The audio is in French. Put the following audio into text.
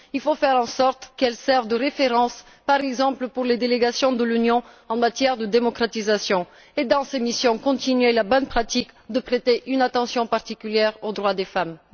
Il faut faire en sorte qu'elles servent de référence, par exemple pour les délégations de l'Union en matière de démocratisation et, dans ces missions, il importe de poursuivre la bonne pratique de prêter une attention particulière aux droits des femmes.